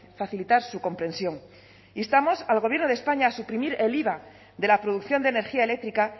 facilitar su comprensión instamos al gobierno de españa a suprimir el iva de la producción de energía eléctrica